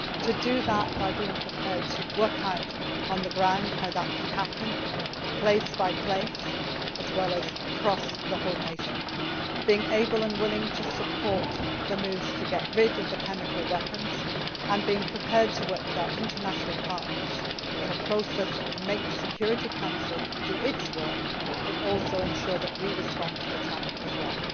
We have to do that by being prepared to work out on the ground how that can happen, place by place as well as across the whole nation, being able and willing to support the moves to get rid of the chemical weapons and being prepared to work with our international partners in a process that can make the Security Council do its work but also ensure that we respond to the challenge as well.